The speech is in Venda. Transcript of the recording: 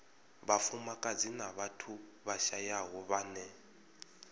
vhafumakadzi na vhathu vhashayaho vhane